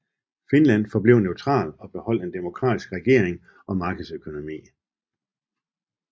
Finland forblev neutral og beholdt en demokratisk regering og markedsøkonomi